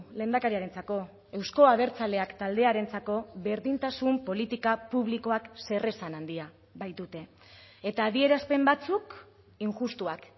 lehendakariarentzako euzko abertzaleak taldearentzako berdintasun politika publikoak zer esan handia baitute eta adierazpen batzuk injustuak